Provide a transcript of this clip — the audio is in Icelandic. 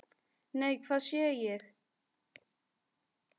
Nei, hvað sé ég!